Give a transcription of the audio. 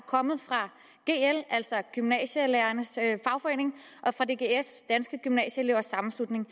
kommet fra gl altså gymnasielærernes fagforening og fra dgs danske gymnasieelevers sammenslutning